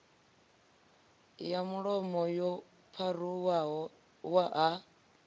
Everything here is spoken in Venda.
ya mulomo yo pharuwaho ha